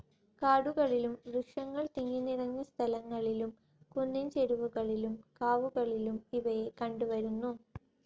കാടുകളിലും, വൃക്ഷങ്ങൾ തിങ്ങിനിറഞ്ഞ സ്ഥലങ്ങളിലും, കുന്നിൻ ചെരിവുകളിലും, കാവുകളിലും ഇവയെ കണ്ടുവരുന്നു.